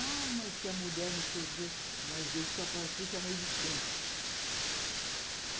Ah, mas que a mulher, não sei o que... Mas eu só faltei chamar ele de santo